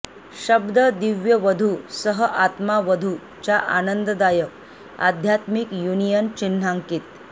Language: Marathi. शब्द दिव्य वधू सह आत्मा वधू च्या आनंददायक आध्यात्मिक युनियन चिन्हांकित